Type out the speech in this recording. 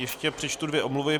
Ještě přečtu dvě omluvy.